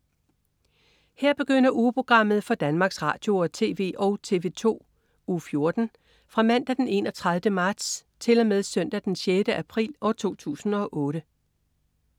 Her begynder ugeprogrammet for Danmarks Radio- og TV og TV2 Uge 14 Fra Mandag den 31. marts 2008 Til Søndag den 6. april 2008